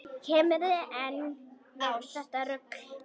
Kemurðu enn með þetta rugl!